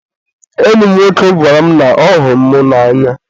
enyi m nwoke gwara m na ọ hụrụ m n'anya.